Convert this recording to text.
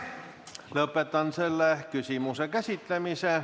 Lõpetan selle küsimuse käsitlemise.